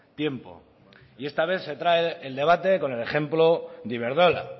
tiempo y esta vez se trae el debate con el ejemplo de iberdrola